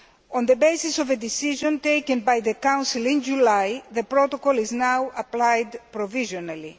On the basis of a decision taken by the Council in July, the protocol is now being applied provisionally.